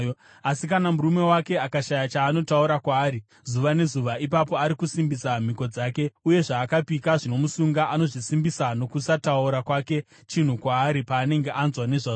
Asi kana murume wake akashaya chaanotaura kwaari zuva nezuva, ipapo ari kusimbisa mhiko dzake uye zvaakapika zvinomusunga. Anozvisimbisa nokusataura kwake chinhu kwaari paanenge anzwa nezvazvo.